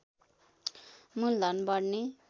मूल धन बढ्ने